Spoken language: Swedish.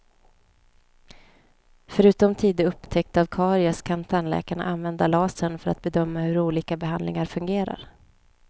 Förutom tidig upptäckt av karies kan tandläkarna använda lasern för att bedöma hur olika behandlingar fungerar.